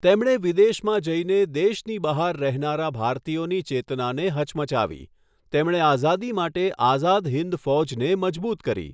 તેમણે વિદેશમાં જઈને દેશની બહાર રહેનારા ભારતીયોની ચેતનાને હચમચાવી, તેમણે આઝાદી માટે આઝાદ હિન્દ ફૌજને મજબૂત કરી.